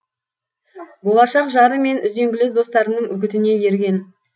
болашақ жары мен үзеңгілес достарының үгітіне ерген